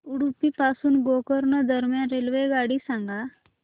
उडुपी पासून गोकर्ण दरम्यान रेल्वेगाडी सांगा